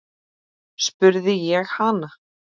spurði ég hana.